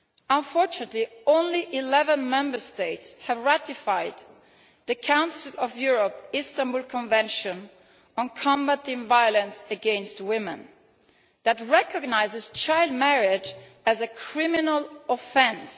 Unfortunately, only 11 Member States have ratified the Council of Europe's Istanbul Convention on combating violence against women that recognises child marriage as a criminal offence.